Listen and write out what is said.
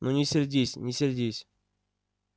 ну не сердись не сердись